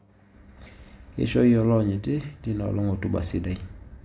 Keishooyie oloonyiti linoolong' otuba sidai